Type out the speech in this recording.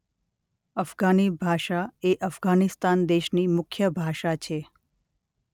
અફઘાની ભાષા એ અફઘાનિસ્તાન દેશની મુખ્ય ભાષા છે.